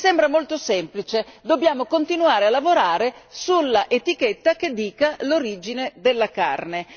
Mi sembra molto semplice dobbiamo continuare a lavorare sull'etichetta che dica l'origine della carne.